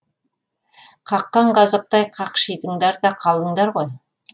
қаққан қазықтай қақшидыңдар да қалдыңдар ғой